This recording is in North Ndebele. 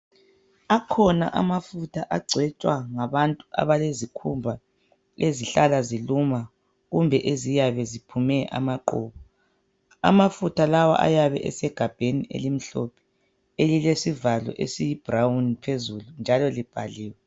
Akhona amafutha agcotshwa ngabantu abalezikhumba ezihlala ziluma kumbe eziyabe ziphume amaqhubu. Amafutha lawa ayabe esegabheni elimhlophe elilesivalo esiyi brown phezulu njalo libhaliwe.